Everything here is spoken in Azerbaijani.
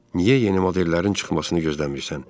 Niyə yeni modellərin çıxmasını gözləmirsən?